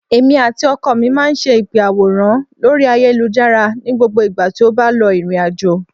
Èmi àti ọkọ mi máa ń ṣe ìpè àwòránhùn lórí ayélujára ní gbogbo ìgbà tí ó bá lọ ìrìnàjò